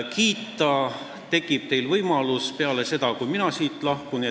Teil tekib võimalus teda kiita peale seda, kui mina siit lahkun.